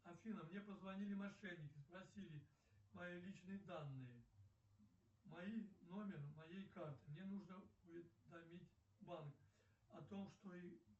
афина мне позвонили мошенники спросили мои личные данные мои номер моей карты мне нужно уведомить банк о том что